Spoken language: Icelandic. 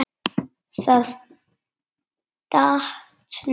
Það datt. niður.